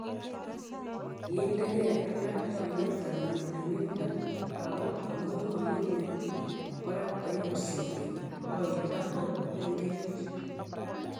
kiinde gei alak chmyetab mining'indo, aku amu mamenye kurat aibut sigik, koilda ko mengechen